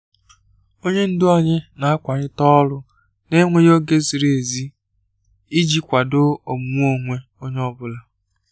Onye ndu anyị na-akwalite ọrụ n'enweghị oge ziri ezi iji kwado omume onwe onye ọ bụla.